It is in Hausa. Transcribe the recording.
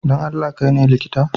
Don Allah, kai ne likitan?